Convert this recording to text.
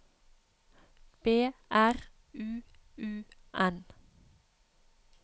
B R U U N